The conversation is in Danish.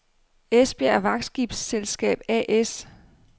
Esbjerg Vagtskibsselskab A/S